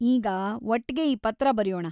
ಈಗ ಒಟ್ಗೆ ಈ ಪತ್ರ ಬರ್ಯೋಣ.